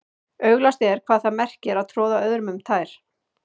Augljóst er hvað það merkir að troða öðrum um tær.